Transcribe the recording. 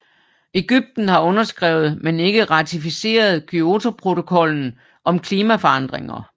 Egypten har underskrevet men ikke ratificeret Kyotoprotokollen om klimaforandringer